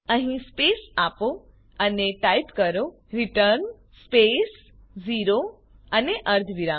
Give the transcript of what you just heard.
અહીં સ્પેસ આપો અને ટાઈપ કરો રિટર્ન સ્પેસ 0 અને અર્ધવિરામ